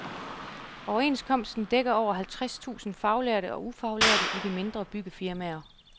Overenskomsten dækker over halvtreds tusind faglærte og ufaglærte i de mindre byggefirmaer.